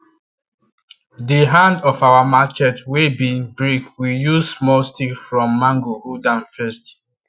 the hand of our marchet wey bin break we use small stick from mango hold am first